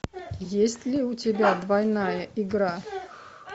есть ли у тебя двойная игра